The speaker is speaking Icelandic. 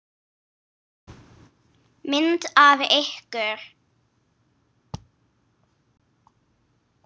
Myndir af ykkur.